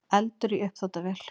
Eldur í uppþvottavél